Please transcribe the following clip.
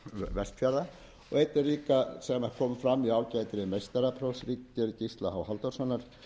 vestfjarða og einnig líka sem kom fram í ágætri meistaraprófsritgerð gísla h halldórssonar